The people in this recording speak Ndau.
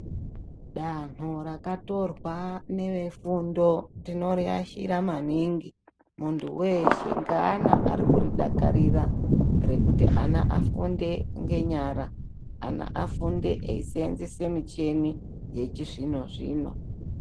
Danho rakatorwa nevefundo tinoriashira maningi muntu weshe ngeana arikuridakarira ana afunde ngenyara ana afunde esenzese muchini yechizvino zvino.